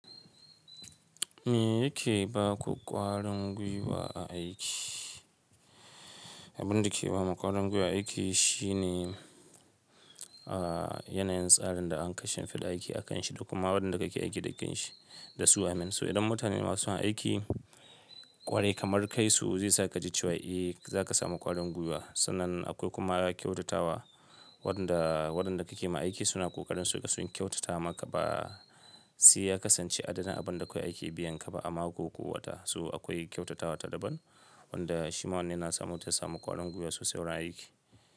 Me yake baku ƙwarin gwiwa a aiki? Abinda ke bamu ƙwarin gwiwa aiki shine a yanayin tsarin da anka shimfida aiki akanshi da kuma waɗanda kake aiki da kanshi dasu waƴannan So idan mutane masu son aiki ƙwarai kamar kaisu zaisa kaji cewa eh zaka samu ƙwarin gwiwa. Sannan akwai kuma ƙyautatawa waɗanda waɗanda kake ma aiki suna ƙoƙarin suga sun kyautata maka ba saiya kasance adana abin da akwai aiki biyan kaba a mako ko wata. So akwai kyautatawa ta daban wanda shima wannan yana sa mutum ya samu ƙwarin gwiwa sosai wurin aiki.